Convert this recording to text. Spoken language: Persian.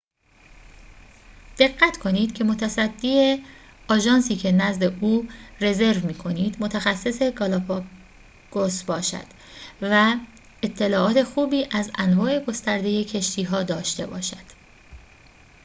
دقت کنید که متصدی آژانسی که نزد او رزرو می‌کنید متخصص گالاپاگوس باشد و اطلاعات خوبی از انواع گسترده کشتی‌ها داشته باشد